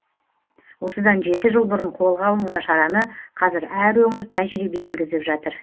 осыдан жеті жыл бұрын қолға алынған шараны қазір әр өңір тәжірибеге енгізіп жатыр